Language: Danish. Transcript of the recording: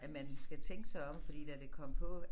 At man skal tænke sig om fordi da det kom på